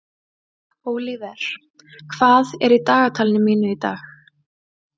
Ólíver, hvað er í dagatalinu mínu í dag?